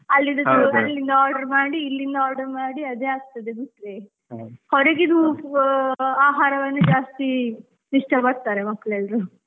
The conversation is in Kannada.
ಅಲ್ಲಿದ್ದದ್ದು order ಮಾಡಿ ಇಲ್ಲಿಂದ order ಮಾಡಿ ಅದೇ ಆಗ್ತದೆ ಹೊರಗಿದ್ದು ಆಹಾರವನ್ನೇ ಜಾಸ್ತಿ ಇಷ್ಟಪಡ್ತಾರೆ, ಮಕ್ಕಳೆಲ್ಲರೂ .